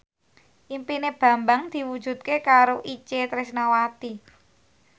impine Bambang diwujudke karo Itje Tresnawati